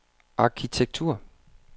arkitektur